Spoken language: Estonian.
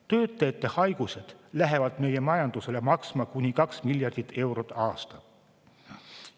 Töötajate haigused lähevad meie majandusele maksma kuni 2 miljardit eurot aastas.